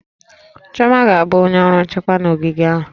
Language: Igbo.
Chioma ga-abụ onye ọrụ nchekwa na ogige ahụ